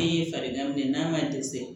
E ye farigan minɛ n'a ma dɛsɛ